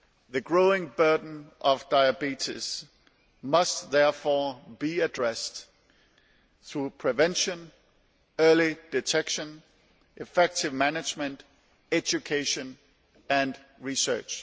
The growing burden of diabetes must therefore be addressed through prevention, early detection, effective management, education and research.